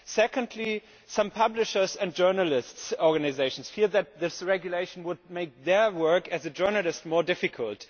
Secondly, some publishers' and journalists' organisations fear that this regulation would make their work as journalists more difficult.